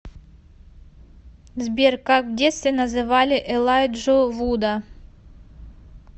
сбер как в детстве называли элайджу вуда